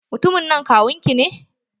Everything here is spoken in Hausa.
Mutumin nan kawun ki ne?